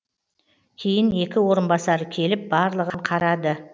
кейін екі орынбасары келіп барлығын қарады